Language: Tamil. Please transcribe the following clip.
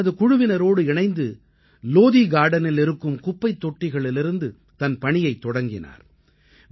அவர் தனது குழுவினரோடு இணைந்து லோதீ கார்டனில் இருக்கும் குப்பைத் தொட்டிகளிலிருந்து தன் பணியைத் தொடங்கினார்